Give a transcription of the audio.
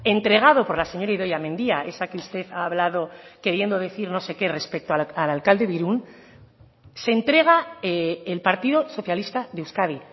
entregado por la señora idoia mendia esa que usted ha hablado queriendo decir no sé qué respecto al alcalde de irún se entrega el partido socialista de euskadi